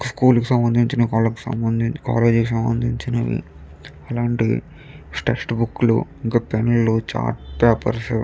School కు సంబంధించిన కలక్ కాలేజీ కి సంబంధించినవి అలాంటివి టెస్ట్ బుక్ లు ఇంకా పెన్నులు చాటులు పేపర్స్ .